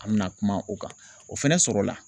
An bɛna kuma o kan o fɛnɛ sɔrɔ la.